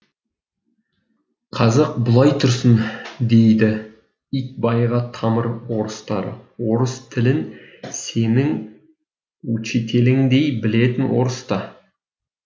қазақ былай тұрсын дейді итбайға тамыр орыстары орыс тілін сенің учителіңдей білетін орыс та